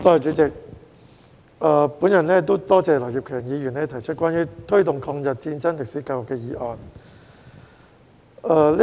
我感謝劉業強議員提出"推動抗日戰爭歷史的教育"議案。